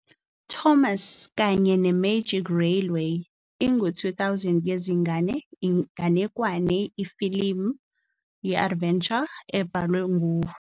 Thomas kanye ne-Magic Railroad ingu-2000 yezingane inganekwane ifilimu ye-adventure ebhalwe futhi yaqondiswa ngu-Britt Allcroft futhi yakhiqizwa u-Allcroft no-Phil Fehrle.